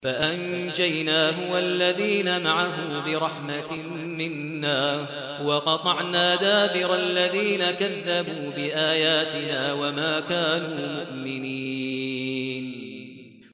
فَأَنجَيْنَاهُ وَالَّذِينَ مَعَهُ بِرَحْمَةٍ مِّنَّا وَقَطَعْنَا دَابِرَ الَّذِينَ كَذَّبُوا بِآيَاتِنَا ۖ وَمَا كَانُوا مُؤْمِنِينَ